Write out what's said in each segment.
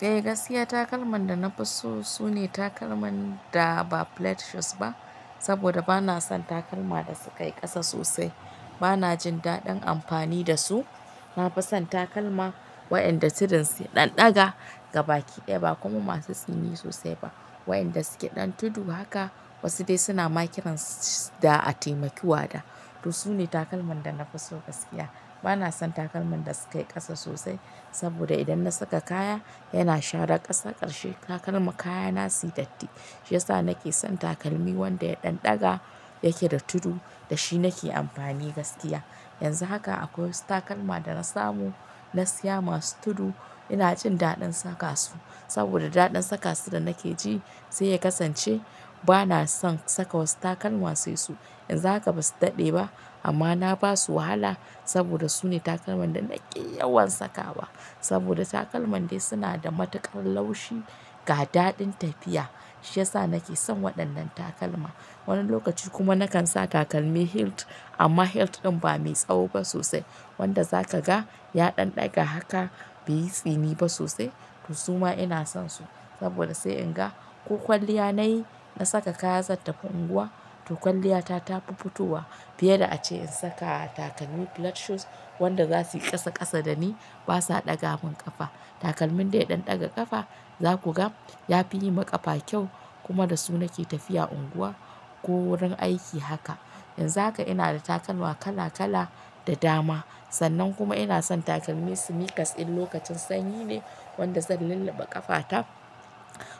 Eh gaskiya takalman da na fi so sune takalman da ba flat shoes ba saboda bana son takalma da suka yi ƙasa sosai. Bana jin daɗin amfani da su. Na fi son takalma waiyanda suɗin su ɗan ɗaga gabaki ɗaya ba kuma masu tsini sosai ba. Waiyanda suke ɗan tudu haka wasu dai suna makiran, ss, da a taimaki wada. To su ne takalman da na fi so gaskiya. Bana son takalman da suka yi ƙasa sosai saboda idan na saka kaya yana shara ƙasa ƙarshe takalma, kayana suyi datti. Shi yasa nake son takalmi wanda ya ɗan ɗaga yake da tudu da shi nake amfani gaskiya. Yanzu haka akwai wasu takalma da na samu na siya masu tudu ina jin daɗin saka su, saboda daɗin saka su da nake ji sai ya kasance bana son saka wasu takalma sai su. Yanzu haka basu daɗe ba amma na basu wahala saboda sune takalman da nake yawan sakawa. Saboda takalman dai suna da matuƙar laushi ga daɗin tafiya. Shi yasa nake son waɗannan takalma. Wani lokaci kuma nakan sa takalmi hilt amma hilt ɗin ba mai tsawo ba sosai wanda zaka ga ya ɗan ɗaga haka bai yi tsini ba sosai. To su ma ina son su saboda sai in ga ko kwalliya na yi na saka kaya zan tafi unguwa. To kwalliyata ta fi fitowa fiye da ace in saka takalmi flat shoes waɗanda za su yi ƙasa ƙasa da ni ba sa ɗaga min ƙafa. Takalmin dai ya ɗan ɗaga ƙafa za ku ga ya fi yi ma ƙafa kyau kuma da su nake tafiya unguwa ko wurin aiki haka. Yanzu haka ina da takalma kala-kala da dama, sannan kuma ina son takalmi sneakers in lokacin sanyi ne wanda zan lulluɓe ƙafata,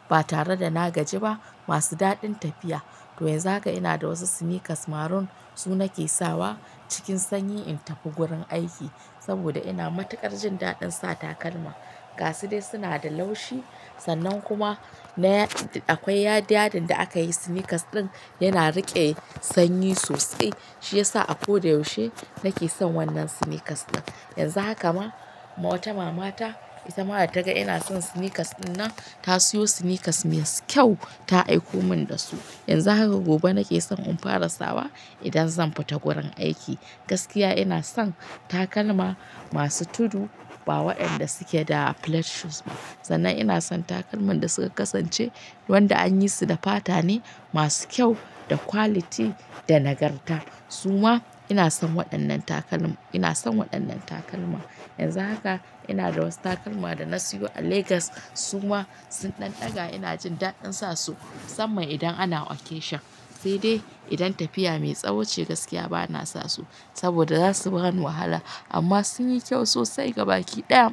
ba tare da na gaji ba masu daɗin tafiya. To yanzu haka ina da wasu sneakers maroon su nake sawa cikin sanyi in tafi gurin aiki saboda ina matuƙar jin daɗin sa takalma. Gasu dai dai suna da laushi sannan kuma na, akwai yada, yaddin da aka yi sneakers ɗin yana riƙe sanyi sosai. Shi yasa akoda yaushe nake son wannan sneakers ɗin. Yanzu haka ma ma wata mama ta isa mata ta ga ina son sneakers ɗin nan ta siyo sneakers masu kyau ta aiko min da su. Yanzu haka gobe nake son in fara sawa idan zan fita gurin aiki. Gaskiya ina son takalma masu tudu ba waɗanda suke da flat shoes ba. Sannan ina son takalman da suka kasance wanda an yi su da fata ne masu kyau da quality da nagarta. Su ma ina son waɗannan takalma, ina son waɗannan takalma. Yanzu haka ina da wasu takalma da na siyo a Legas su ma sun ɗan ɗaga ina jin daɗin sa su musamman idan ana occasion. Sai dai idan tafiya mai tsawo ce gaskiya bana sa su saboda za su baran wahala amma sun yi kyau sosai gabaki ɗaya.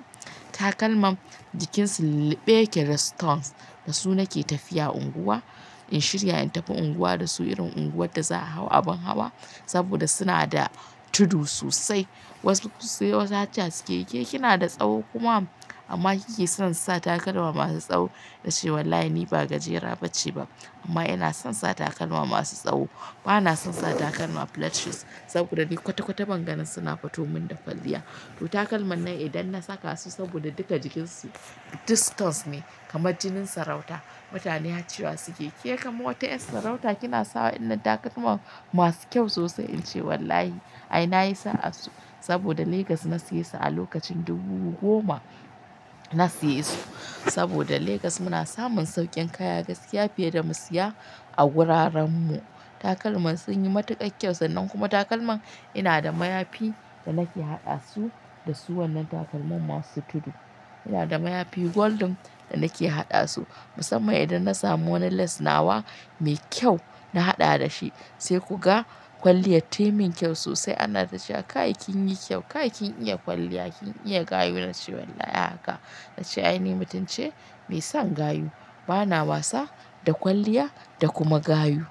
Takalman jikin su lulluɓe yake da stones da su nake tafiya unguwa. In shirya in tafi unguwa da su irin unguwar da za a hau abin hawa saboda suna da tudu sosai. Wasu sai wasu hatsa suke yake kina da tsawo kuma amma kike son sa takalma masu tsawo. Na ce wallahi ni ba gajera ba ce ba amma ina son sa takalma masu tsawo. Bana son sa takalma flat shoes saboda ni kwata-kwata ban ganin suna fitomin da kwalliya. To takalman nan idan na saka su saboda duka jikin su duk stones ne kamar jinin sarauta. Mutane har ciwa suke yake ke kamar wata yar sarauta kina sawa illa takalma masu kyau sosai, in ce wallahi ai na yi sa'a su saboda Legas na siye su a lokacin dubu goma na siye su. Saboda Legas muna samun sauƙin kaya gaskiya fiye da mu siya a wuraren mu. Takalman sun yi matuƙa kyau sannan kuma takalman ina da mayafi da nake haɗa su da su wannan takalman masu tudu. Ina da mayafi golden da nake haɗa su musamman idan na samu wani lace nawa mai kyau na haɗa da shi. Sai ku ga kwalliya taimin kyau sosai ana tana cewa kai kin yi kyau, kai kin iya kwalliya, kin iya gayu, na ce wallahi haka. Na ce ai ni mutunce mai son gayu, bana wasa da kwalliya, da kuma gayu.